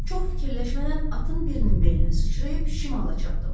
Çox fikirləşmədən atın birinin belinə sıçrayıb şimala çapdı.